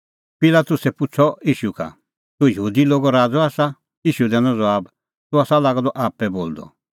पिलातुसै पुछ़अ ईशू का तूह यहूदी लोगो राज़अ आसा ईशू दैनअ ज़बाब तूह आसा लागअ द आप्पै बोलदअ